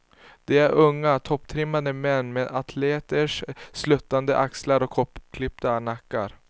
De är unga, topptrimmade män med atleters sluttande axlar och kortklippta nackar.